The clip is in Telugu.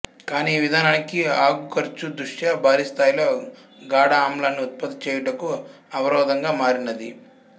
కాని ఈ విధానాకి అగుఖర్చు దృష్టా భారిస్థాయిలో గాఢఆమ్లాన్ని ఉత్పత్తి చేయుటకు అవరోధంగా మారినది